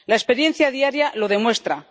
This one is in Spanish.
La experiencia diaria lo demuestra.